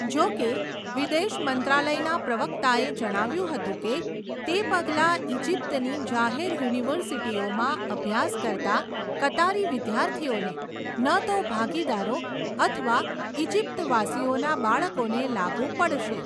જો કે, વિદેશ મંત્રાલયના પ્રવક્તાએ જણાવ્યુંં હતું કે તે પગલાં ઇજિપ્તની જાહેર યુનિવર્સિટીઓમાં અભ્યાસ કરતા કતારી વિદ્યાર્થીઓને, ન તો ભાગીદારો અથવા ઇજિપ્તવાસીઓના બાળકોને લાગુ પડશે.